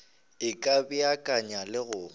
e ka beakanya le go